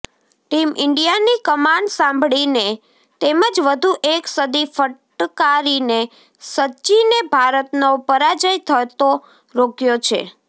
team ઈન્ડિયાની કમાન સંભાળીને તેમજ વધુ એક સદી ફટકારીને સચિને ભારતનો પરાજય થતો રોક્યો છે